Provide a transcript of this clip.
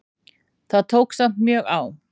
Það tók samt mjög á.